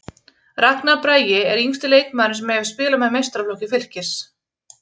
Ragnar Bragi er yngsti leikmaðurinn sem hefur spilað með meistaraflokki Fylkis.